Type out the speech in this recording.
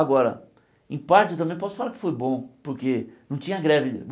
Agora, em parte eu também posso falar que foi bom, porque não tinha greve.